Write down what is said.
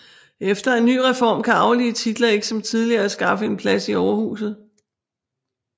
Efter en ny reform kan arvelige titler ikke som tidligere skaffe en plads i overhuset